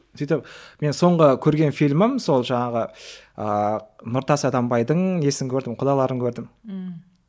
сөйтіп менің соңғы көрген фильмім сол жаңағы ыыы нұртас адамбайдың несін көрдім құдаларын көрдім ммм